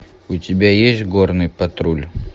у тебя есть горный патруль